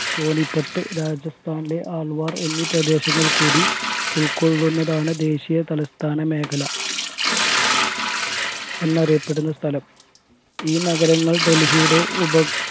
സോനിപ്പട്ട് രാജസ്ഥാനിലെ ആൾവാർ എന്നീ പ്രദേശങ്ങൾ കൂടി ഉൾക്കൊള്ളുന്നതാണ് ദേശിയ തലസ്ഥാന മേഖല എന്ന അറിയപ്പെടുന്ന സ്ഥലം ഈ നഗരങ്ങൾ ഡൽഹിയുടെ ഉപ